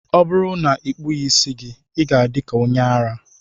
Ọ bụrụ na ị kpụghị isi gị, ị ga-adị ka onye ara